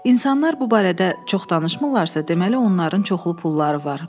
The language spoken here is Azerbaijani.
İnsanlar bu barədə çox danışmırlarsa, deməli onların çoxlu pulları var.